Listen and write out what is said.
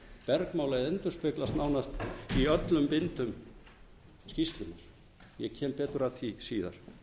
bergmála eða endurspeglast nánast í öllum bindum skýrslunnar ég kem betur að því síðar